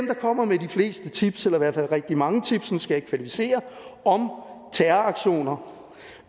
kommer med de fleste tips eller i hvert fald rigtig mange tips nu skal jeg ikke kvantificere om terroraktioner